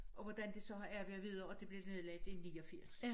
Og hvordan det så har arbejdet videre og det blev nedlagt i 89